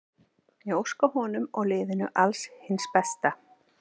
Ég óska honum og liðinu alls hins besta.